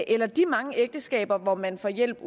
eller de mange ægteskaber hvor man får hjælp